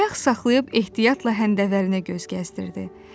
Ayaq saxlayıb ehtiyatla həndəvərinə göz gəzdirdi.